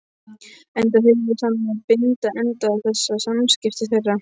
Enda hugðist hann nú binda enda á þessi samskipti þeirra.